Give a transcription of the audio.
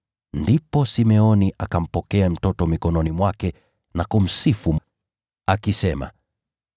ndipo Simeoni akampokea mtoto mikononi mwake na kumsifu Mungu, akisema: